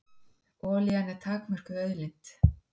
Olían er takmörkuð auðlind.